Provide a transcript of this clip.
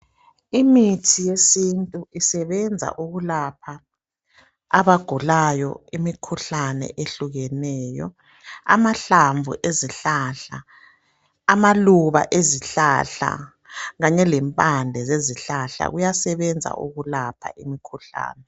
Imithi yesintu isebenza ukulapha abagulayo imikhuhlane ehlukeneyo. Amahlamvu ezihlahla, amaluba ezihlahla kanye lempande ezihlahla kuyasebenza ukulapha imikhuhlane.